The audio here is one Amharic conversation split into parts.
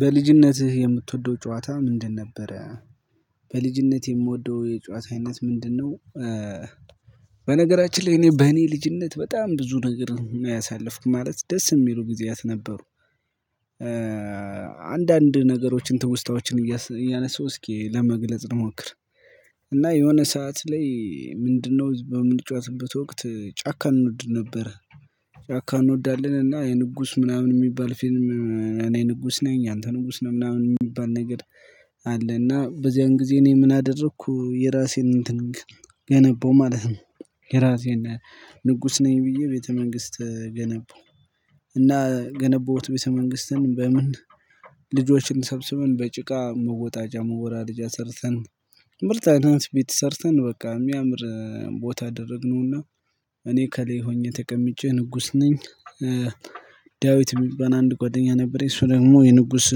በልጅነትህ የምትወደው ጨዋታ ምንድን ነበረ? በልጅነት የምወደው የጨዋታ አይነት ምንድነው? በነገራችን ላይ እኔ በእኔ ልጅነት በጣም ብዙ ነገር ነው ያሳልፍኩት ማለት ደስ የሚሉ ጊዜያት ነበሩ። አንዳንድ ነገሮችን ትውስታዎችን እያነሳው እስኪ ለመግለጽ ልሞክር። እና የሆነ ሰዓት ላይ ምንድነው በምንጫወትበት ወቅት ጫካ እንወድ ነበረ። ጫካ እንወዳለን እና የንጉስ ምናምን የሚባል ፊልም እኔ ንጉስ ነኝ አንተ ንጉስ ነህ ምናምን የሚባል ነገር። አለ እና በዚያን ጊዜ እኔ ምን አደረኩ የራሴን እንትን ገነባው ማለት ነው። የራሴን ንጉስ ነኝ ብዬ ቤተ መንግስት ገነባው። እና ገነባሁት ቤተ መንግስትን በምን ልጆችን ሰብስበን በጭቃ መወጣጃ መወራረጃ አሰርተን ምርጥ አርገን ቤት ሰርተን በቃ የሚያምር ቦታ አደረግነውና እኔ ከላይ ሆኜ ተቀምጬ ንጉስ ነኝ። ዳዊት የሚባል አንድ ጓደኛ ነበረኝ እሱ ደግሞ የንጉስ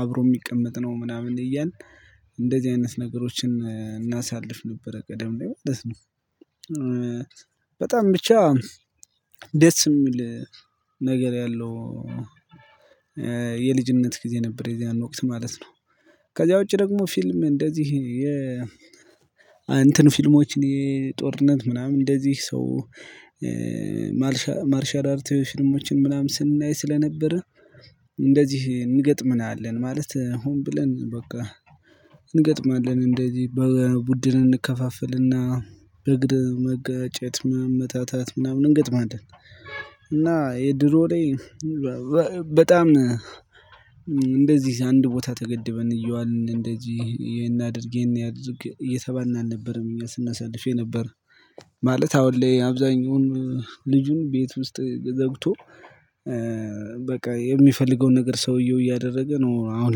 አብሮ የሚቀመጥ ነው ምናምን እያልን እንደዚህ አይነት ነገሮችን እናሳልፍ ነበረ ቀደም ላይ ማለት ነው። በጣም ብቻ ደስ የሚል ነገር ያለው። የልጅነት ጊዜ ነበር የዚያን ወቅት ማለት ነው። ከዚያ ውጪ ደግሞ ፊልም እንደዚህ የ እንትን ፊልሞችን የጦርነት ምናምን እንደዚህ። ሰው አርቲዮሽን ምናምን ስናይ ስለነበረ እንደዚህ እንገጥመናለን ማለት ሆን ብለን በቃ እንገጥማለን እንደዚህ በቡድን እንከፋፍልና በእግር መጋጨት መመታታት ምናምን እንገጥማለን። እና የድሮ ላይ በጣም እንደዚህ አንድ ቦታ ተገድበን እየዋልን እንደዚህ ይሄን አድርግ ይሄን አድርግ እየተባልን አልነበረም እኛ ስናሳልፍ የነበረ። ማለት አሁን ላይ አብዛኛውን ልጁን ቤት ውስጥ ዘግቶ በቃ የሚፈልገውን ነገር ሰውየው እያደረገ ነው። አሁን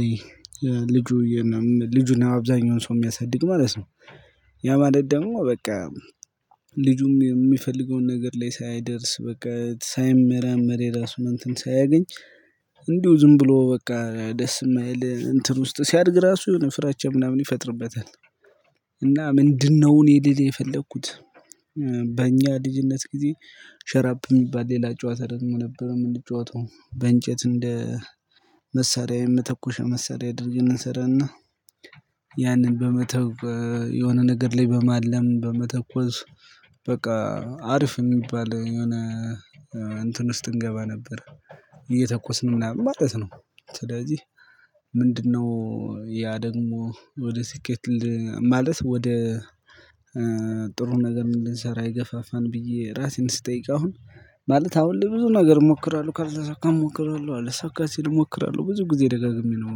ላይ ልጁ ልጁን አብዛኛውን ሰው የሚያሳድግ ማለት ነው። ያ ማለት ደግሞ በቃ ልጁም የሚፈልገውን ነገር ላይ ሳይደርስ በቃ ሳይመራመር የራሱን እንትን ሳያገኝ እንዲሁ ዝም ብሎ በቃ ደስ የማይል እንትን ውስጥ ሲያድግ ራሱ ፍራቻ ምናምን ይፈጥርበታል። እና ምንድነው እኔ ልል የፈለኩት? በእኛ ልጅነት ጊዜ ሸራብኝ ይባል ሌላ ጨዋታ ደግሞ ነበር የምንጨዋተው በእንጨት እንደ መሳሪያ የመተኮሻ መሳሪያ እንሰራና። ያንን በመተው የሆነ ነገር ላይ በማለም በመተኮስ በቃ አሪፍ የሚባል የሆነ እንትን ውስጥ እንገባ ነበር። እየተኮስን ማለት ነው ስለዚህ ምንድነው? ያ ደግሞ ወደ ስኬት ማለት ወደ ጥሩ ነገር ምን ልንሰራ የገፋፋን ብዬ ራሴን ስጠይቅ አሁን ማለት አሁን ላይ ብዙ ነገር እሞክራለሁ ካልተሳካ እሞክራለሁ አልሳካ ሲል እሞክራለሁ ብዙ ጊዜ ደጋግሜ ነው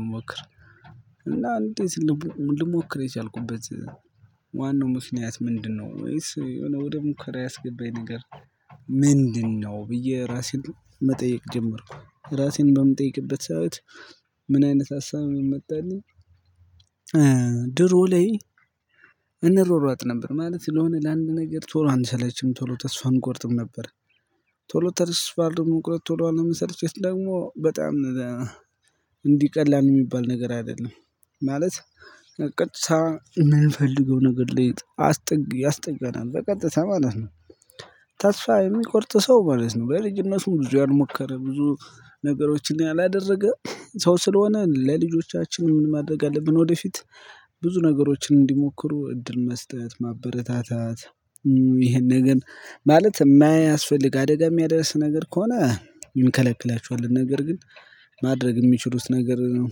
የምሞክረው። እና አንዴ ልሞክር የቻልኩበት ዋናው ምክንያት ምንድነው? ወይስ የሆነ ወደ ሙከራ ያስገባኝ ነገር ምንድነው? ብዬ ራሴን መጠየቅ ጀመርኩ ራሴን በምጠይቅበት ሰዓት ምን አይነት ሀሳብ መጣልኝ። ድሮ ላይ እንሯሯጥ ነበር ማለት ለሆነ ለአንድ ነገር ቶሎ አንሰለችም ቶሎ ተስፋ አንቆርጥም ነበር። ቶሎ ተስፋ አለመቁረጥ ቶሎ አለምሰርቸት ደግሞ በጣም እንዲህ ቀላል የሚባል ነገር አይደለም። ማለት ቀጥታ የምንፈልገው ነገር ላይ አስጠግ ያስጠጋናል በቀጥታ ማለት ነው። ተስፋ የሚቆርጥ ሰው ማለት ነው። በልጅነቱም ብዙ ያልሞከረ ብዙ ነገሮችን ያላደረገ ሰው ስለሆነ ለልጆቻችን ምን ማድረግ አለብን ወደፊት ብዙ ነገሮችን እንዲሞክሩ እድል መስጠት ማበረታታት። ይሄን ግን ማለት የማያስፈልግ አደጋ የሚያደርስ ነገር ከሆነ እንከለክላችኋለን ነገር ግን ማድረግ የሚችሉት ነገር ነው።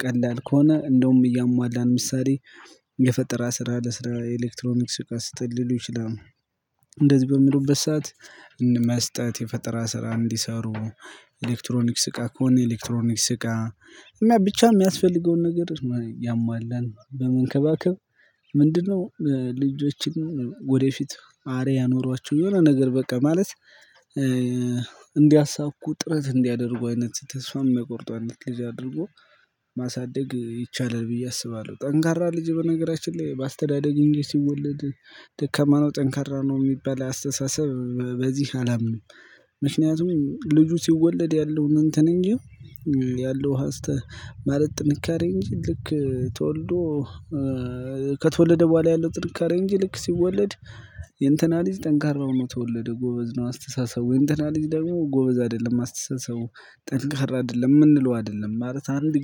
ቀላል ከሆነ እንደውም እያሟላን ምሳሌ የፈጠራ ስራ ለስራ ኤሌክትሮኒክስ እቃ ስጠን ሊሉ ይችላሉ። እንደዚህ በሚሉበት ሰዓት መስጠት የፈጠራ ስራ እንዲሰሩ። ኤሌክትሮኒክስ እቃ ከሆነ ኤሌክትሮኒክስ እቃ እና ብቻ የሚያስፈልገውን ነገር እያሟላን በመንከባከብ። ምንድነው ልጆችን ወደፊት አርያ ኖሯቸው የሆነ ነገር በቃ ማለት እንዲያሳኩ ጥረት እንዲያደርጉ አይነት ተስፋ የማያቆርጡ አይነት ልጅ አድርጎ ማሳደግ ይቻላል። ብዬ አስባለሁ። ጠንካራ ልጅ በነገራችን ላይ በአስተዳደግ እንጂ ሲወለድ ደከማ ነው ጠንካራ ነው የሚባል አስተሳሰብ በዚህ አላምንም። ምክንያቱም ልጁ ሲወለድ ያለውን እንትን እንጂ ያለው ሀስተ ማለት ጥንካሬ እንጂ ልክ ተወልዶ ከተወለደ በኋላ ያለው ጥንካሬ እንጂ ልክ ሲወለድ የእንትና ልጅ ጠንካራ ሆኖ ተወለደ። ጎበዝ ነው አስተሳሰብ ወይም የእንትና ልጅ ደግሞ ጎበዝ አይደለም አስተሳሰቡ ጠንካራ አይደለም የምንለው አይደለም ማለት አንድ